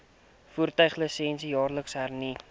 voertuiglisensie jaarliks hernu